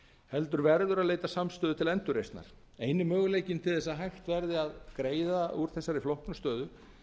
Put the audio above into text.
heldur verður að leita samstöðu til endurreisnar eini möguleikinn til þess að hægt verði að greiða úr þessari flóknu stöðu